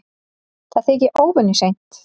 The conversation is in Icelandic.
Það þykir óvenju seint